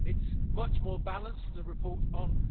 It is much more balanced than the report on